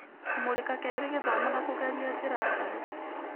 Kũmũrĩka kerĩ gĩthomo na kũgeria njĩra njerũ.